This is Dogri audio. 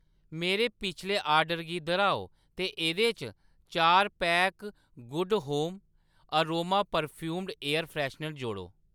मेरे पिछले आर्डर गी दर्‌हाओ ते एह्‌‌‌दे च चार pack Good Home aroma perfumed air freshener जोड़ो